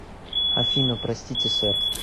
афина простите сэр